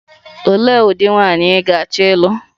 Olee ụdị nwaanyị ị ga-achọ ịlụ?